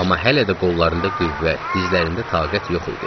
Amma hələ də qollarında qüvvət, dizlərində taqət yox idi.